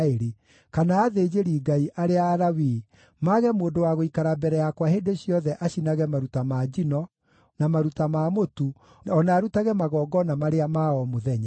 kana athĩnjĩri-Ngai, arĩa Alawii, mage mũndũ wa gũikara mbere yakwa hĩndĩ ciothe acinage maruta ma njino, na maruta ma mũtu, o na arutage magongona marĩa ma o mũthenya.’ ”